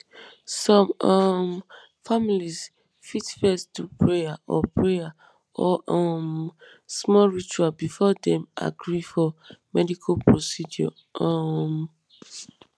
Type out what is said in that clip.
some um families fit first do prayer or prayer or um small ritual before dem agree for medical procedure um